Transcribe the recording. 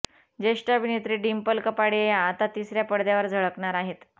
ज्येष्ठ अभिनेत्री डिम्पल कपाडियाही आता तिसऱ्या पडद्यावर झळकणार आहेत